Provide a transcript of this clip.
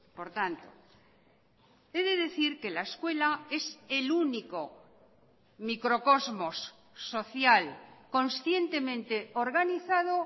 por tanto he de decir que la escuela es el único microcosmos social conscientemente organizado